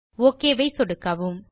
okay மீது சொடுக்கவும்